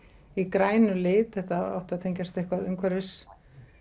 í grænum lit þetta átti að tengjast eitthvað umhverfismálum